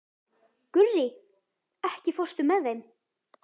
Gurrí, ekki fórstu með þeim?